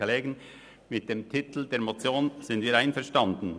Mit dem Titel der Motion sind wir einverstanden: